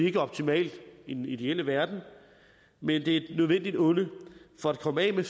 ikke optimalt i den ideelle verden men det er et nødvendigt onde for at komme af med